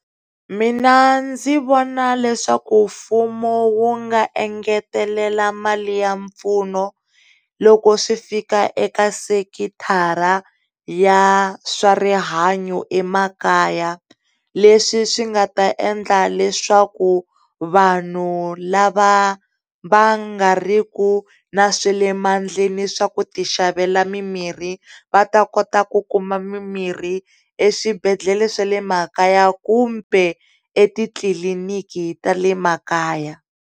Mina ndzi vona leswaku mfumo wu nga engetelela mali ya mpfuno loko swi fika eka sekithara ya swa rihanyo emakaya leswi swi nga ta endla leswaku vanhu lava va nga ri ku na swa lemandleni le swa ku tixavela mi mirhi va ta kota ku kuma mi mirhi eswibedhlele swa le makaya kumbe etitliliniki ta le makaya.